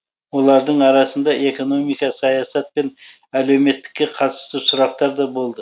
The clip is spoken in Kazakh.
олардың арасында экономика саясат пен әлеуметтікке қатысты сұрақтар да болды